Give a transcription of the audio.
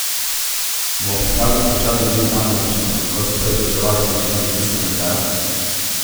Bodo pripravljeni plačati digitalno naročnino, kot so prej plačevali naročnino za tiskano izdajo?